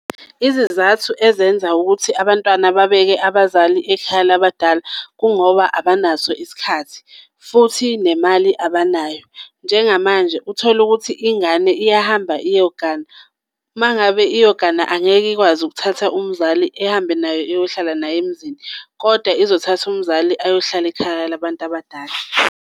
Izizathu ezenza ukuthi abantwana babeke abazali ekhaya labadala, kungoba abanaso isikhathi futhi nemali abanayo. Njengamanje uthole ukuthi ingane iyahamba iyogana, uma ngabe iyogana angeke ikwazi ukuthatha umzali ihambe naye iyohlala naye emzini kodwa izothatha umzali ayohlala ekhaya labantu abadala.